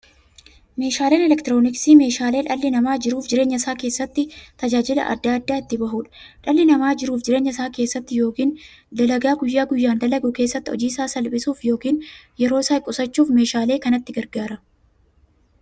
Meeshaaleen elektirooniksii meeshaalee dhalli namaa jiruuf jireenya isaa keessatti, tajaajila adda addaa itti bahuudha. Dhalli namaa jiruuf jireenya isaa keessatti yookiin dalagaa guyyaa guyyaan dalagu keessatti, hojii isaa salphissuuf yookiin yeroo isaa qusachuuf meeshaalee kanatti gargaarama.